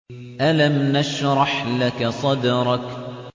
أَلَمْ نَشْرَحْ لَكَ صَدْرَكَ